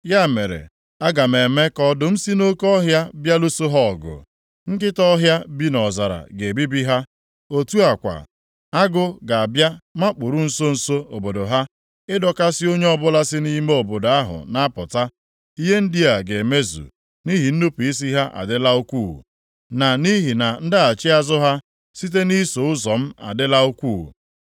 Ya mere, aga m eme ka ọdụm si nʼoke ọhịa bịa lụso ha ọgụ; nkịta ọhịa bi nʼọzara ga-ebibi ha. Otu a kwa, agụ ga-abịa makpuru nso nso obodo ha ịdọkasị onye ọbụla si nʼime obodo ahụ na-apụta. Ihe ndị a ga-emezu nʼihi na nnupu isi ha adịla ukwuu, na nʼihi na ndaghachi azụ ha site na iso ụzọ m adịla ukwuu.